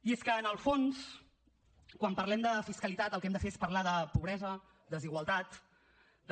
i és que en el fons quan parlem de fiscalitat el que hem de fer és parlar de pobresa desigualtat de